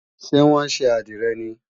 Ṣé wọ́n ṣe àdìrẹ ni?